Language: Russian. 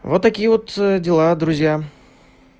вот такие вот дела друзья